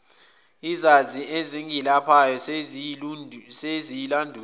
izazi ezingelaphayo seziyilandulile